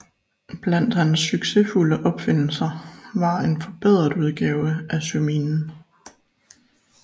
Blandt hans succesfulde opfindelser var en forbedret udgave af søminen